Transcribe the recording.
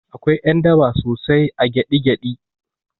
Akwai ƴan daba sosai a gyaɗi gyaɗi